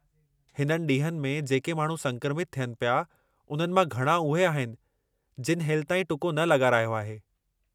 हिननि ॾींहनि में जेके माण्हू संक्रमित थियनि पिया, उन्हनि मां घणां उहे आहिनि जिनि हेलिताईं टुको न लॻारायो आहे।